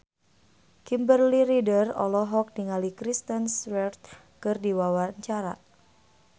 Kimberly Ryder olohok ningali Kristen Stewart keur diwawancara